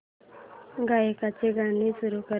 गायकाचे गाणे सुरू कर